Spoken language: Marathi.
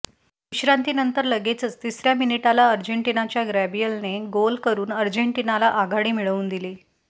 विश्रांतीनंतर लगेचच तिसर्या मिनिटाला अर्जेंटिनाच्या गॅब्रियलने गोल करून अर्जेंटिनाला आघाडी मिळवून दिली